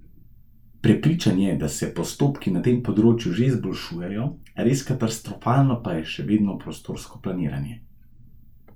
Prepričan je, da se postopki na tem področju že izboljšujejo, res katastrofalno pa je še vedno prostorsko planiranje.